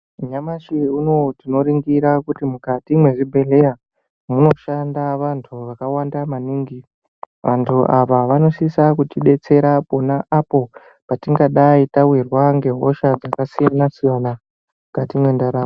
Nyamashi unouyu tinorengira kuti mukati mwezvibhedhleya munoshanda vantu vakawanda maningi. Vantu ava vanosisa kuti detsera pona apo patingadai tavirwa ngehosha dzakasiyana-siyana mukati mwendaramo.